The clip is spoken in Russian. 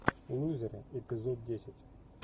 лузеры эпизод десять